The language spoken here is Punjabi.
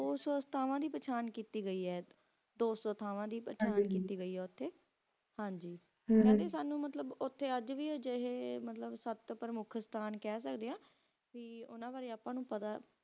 ਦੋ ਸੋ ਥਾਵਾਂ ਦੀ ਪਹਿਚਾਣ ਕਿੱਤੀ ਗਏ ਹੈ ਹਾਂਜੀ ਦੋ ਸੋ ਥਾਵਾਂ ਹਮ ਦੀ ਪਹਿਚਾਣ ਕਿੱਤੀ ਗਏ ਹੈ ਉਥੇ ਉਥੇ ਅਜੇ ਵੀ ਮਤਲਬ ਆਏ ਹਾ ਯ ਮੁਖ ਮੰਤ੍ਰਿਸਟਾਂ ਤੇ ਉਨ੍ਹਾਂ ਬਾਰੇ ਆਪ ਨੂੰ ਪਤਾ ਪੋਉਚਨ ਹਾਂਜੀ